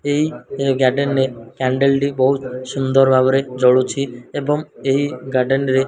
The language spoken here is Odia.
ଏହି ଏ ଗାର୍ଡେନ ରେ କ୍ୟାଣ୍ଡେଲ୍ ଟି ବୋହୁତ୍ ସୁନ୍ଦର୍ ଭାବରେ ଜଳୁଛି ଏବଂ ଏହି ଗାର୍ଡେନ ରେ --